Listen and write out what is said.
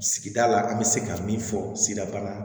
Sigida la an bɛ se ka min fɔ sidabana